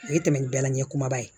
O ye tɛmɛ ni bɛɛla ɲɛ kumaba ye